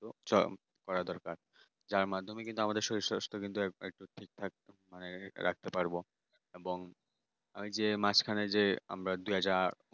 রূপচর্চা করা দরকার যার মাধ্যমে কিন্তু আমাদের শরীর-স্বাস্থ্য একদম ঠিক থাকে মানে ঠিক রাখতে পারব। তখন ওই যে মাঝখানে যে আমরা দুই হাজার